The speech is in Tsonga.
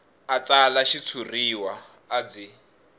a tsala xitshuriwa a byi